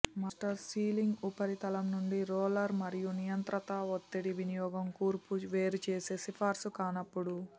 master sealing ఉపరితలం నుండి roller మరియు నియంత్రిత ఒత్తిడి వినియోగం కూర్పు వేరుచేసే సిఫార్సు కానప్పుడు